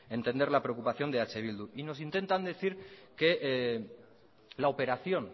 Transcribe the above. entender la preocupación de eh bildu y nos intentan decir que la operación